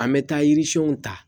An bɛ taa yiri siɲɛnw ta